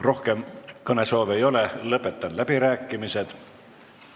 Rohkem kõnesoove ei ole, lõpetan läbirääkimised.